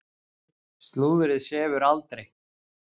Slúðrið sefur aldrei.